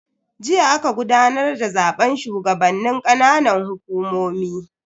Jiya aka gudanar da zaben shugabannin ƙananan hukumomi.